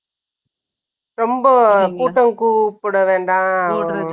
ரொம்ப கூட்டம் கூப்பிட வேண்டாம்.